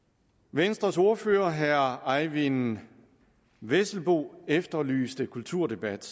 venstres ordfører herre eyvind vesselbo efterlyste kulturdebat